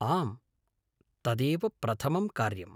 आम्, तदेव प्रथमं कार्यम्।